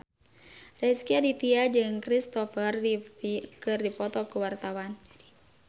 Rezky Aditya jeung Kristopher Reeve keur dipoto ku wartawan